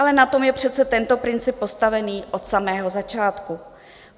Ale na tom je přece tento princip postaven od samého začátku.